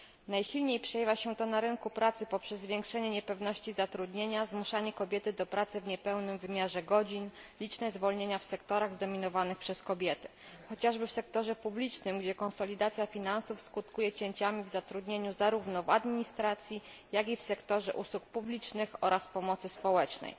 Najsilniej przejawia się to na rynku pracy poprzez zwiększenie niepewności zatrudnienia, zmuszanie kobiet do pracy w niepełnym wymiarze godzin, liczne zwolnienia w sektorach zdominowanych przez kobiety chociażby w sektorze publicznym, gdzie konsolidacja finansów skutkuje cięciami w zatrudnieniu zarówno w administracji, jak i w sektorze usług publicznych oraz pomocy publicznej.